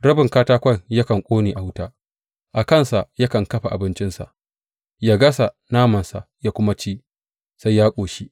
Rabin katakon yakan ƙone a wuta; a kansa yakan dafa abincinsa, yă gasa namansa yă kuma ci sai ya ƙoshi.